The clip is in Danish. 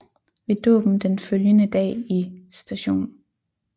Ved dåben den følgende dag i St